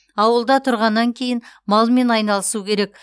ауылда тұрғаннан кейін малмен айналысу керек